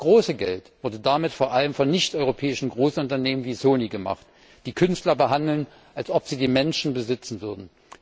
Das große Geld wurde damit vor allem von nichteuropäischen Großunternehmen wie Sony gemacht, die Künstler behandeln, als ob sie die Menschen besitzen würden.